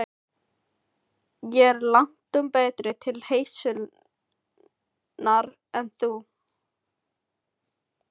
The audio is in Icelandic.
Ég er langtum betri til heilsunnar en þú.